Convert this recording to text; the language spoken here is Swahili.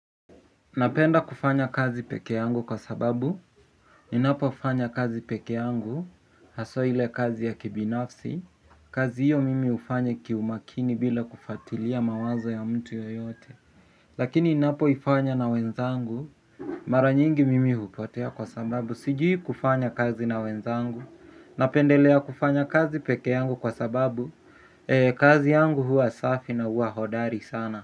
Napenda kufanya kazi peke yangu kwa sababu ninapofanya kazi peke yangu hasa ile kazi ya kibinafsi kazi hiyo mimi hufanya kiumakini bila kufuatilia mawazo ya mtu yoyote. Lakini ninapoifanya na wenzangu mara nyingi mimi hupotea kwa sababu sijui kufanya kazi na wenzangu. Napendelea kufanya kazi peke yangu kwa sababu kazi yangu huwa safi na huwa hodari sana.